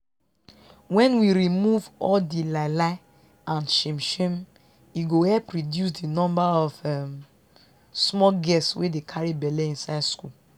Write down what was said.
wen we remove all di lie lie and shame shame e go help reduce di number of um small girls wey dey carry belle inside school